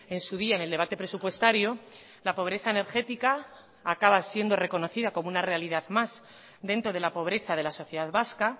en su día en el debate presupuestario la pobreza energética acaba siendo reconocida como una realidad más dentro de la pobreza de la sociedad vasca